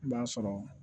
I b'a sɔrɔ